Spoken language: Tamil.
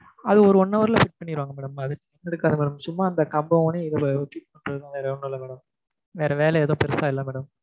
அது ஒரு one hour ல fit பண்ணிருவாங்க madam சும்மா கம்பை ஊனி வேற ஒன்னும் இல்லை madam வேற வேலை ஏதும் பெருசா இல்லை madam